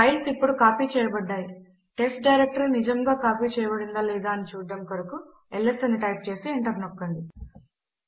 files ఇప్పుడు copy చేయబడ్డాయి బెస్ట్ డైరెక్టరీ నిజముగా కాపీ చేయబడిందా లేదా అని చూడడము కొరకు ల్స్ అని టైప్ చేసి ఎంటర్ నొక్కండి